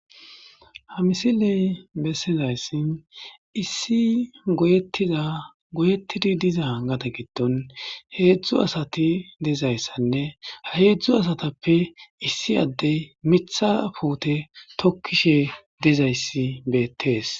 ha misiley bessezayssin issi goyettiza goyettidi diza angata gidton heedzdzu asati dezayssanne ha heedzdzu asatappe issi addey mitha puute tokkishe dezayssi beettees